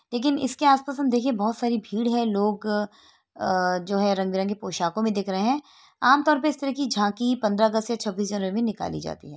लेकिन इसके आस पास हम देखिए बहुत भीड़ है लोग अ जो है रंग बिरंगे पोशाकों में दिख रहे हैं। आमतौर पे इस तरह की झांकी पंद्रह अगस्त या छबीस जनवरी में निकाली जाती है।